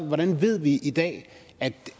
hvordan ved vi i dag at